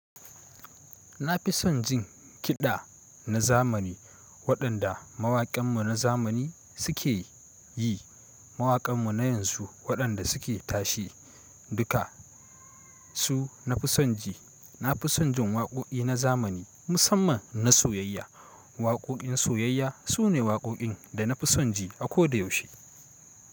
Na fi son jin kiɗa na zamani waɗanda mawaƙanmu na zamani suke yi. Mawaƙanmu na yanzu waɗanda suke tashi duka su na fi son ji. Na fi son jin waƙoƙi na zamani musamman na soyayya. Waƙoƙin soyayya su ne waƙoƙin da na fi son ji a koda yaushe.